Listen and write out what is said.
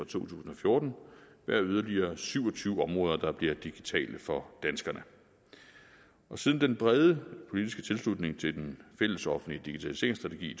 to tusind og fjorten være yderligere syv og tyve områder der bliver digitale for danskerne siden den brede politiske tilslutning til den fællesoffentlige digitaliseringsstrategi i